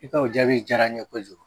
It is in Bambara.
I ka o jaabi diyara n ye kojugu